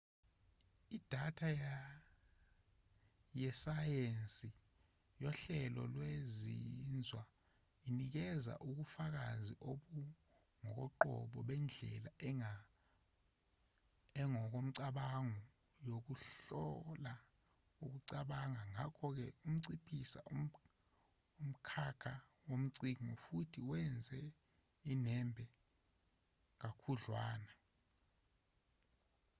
idatha yesayensi yohlelo lwezinzwa inikeza ukufakazi obungokoqobo bendlela engokomcabango yokuhlola ukucabanga ngakho-ke inciphisa umkhakha wocwaningo futhi iwenze unembe kakhudlwana